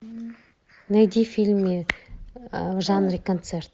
найди фильмы в жанре концерт